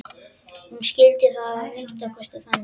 Hún skildi það að minnsta kosti þannig.